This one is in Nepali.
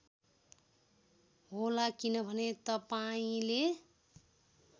होला किनभने तपाईँंले